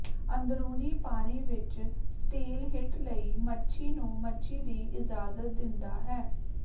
ਅੰਦਰੂਨੀ ਪਾਣੀ ਵਿਚ ਸਟੀਲਹਿੱਟ ਲਈ ਮੱਛੀ ਨੂੰ ਮੱਛੀ ਦੀ ਇਜਾਜ਼ਤ ਦਿੰਦਾ ਹੈ